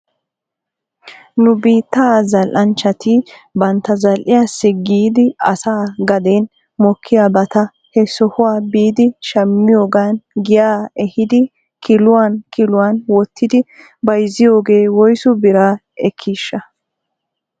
Nu biittaa zal"anchchati bantta zal"iyaassi giidi asa gaden mokiyaabata he sohuwaa biidi shammiyoogan giyaa ehidi kiluwan kiluwan wottidi bayzziyoogee woysu bira ekkiishsha?